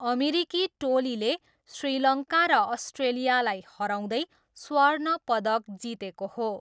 अमेरिकी टोलीले श्रीलङ्का र अस्ट्रेलियालाई हराउँदै स्वर्ण पदक जितेको हो।